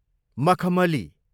मखमली